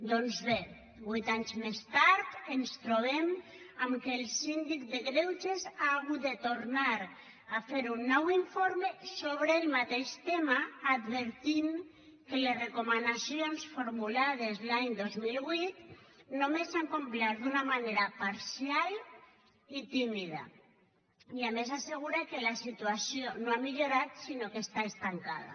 doncs bé huit anys més tard ens trobem que el síndic de greuges ha hagut de tornar a fer un nou informe sobre el mateix tema que adverteix que les recomanacions formulades l’any dos mil vuit només s’han complert d’una manera parcial i tímida i a més assegura que la situació no ha millorat sinó que està estancada